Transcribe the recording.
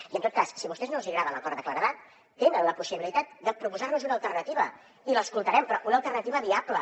i en tot cas si a vostès no els agrada l’acord de claredat tenen la possibilitat de proposar nos una alternativa i l’escoltarem però una alternativa viable